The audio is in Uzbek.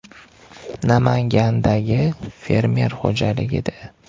Namangandagi fermer xo‘jaligida.